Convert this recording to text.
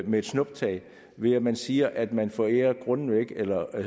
med et snuptag ved at man siger at man forærer grundene væk eller